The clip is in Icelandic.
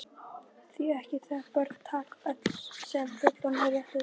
Því ekki það, börn taka öllu sem fullorðnir rétta þeim.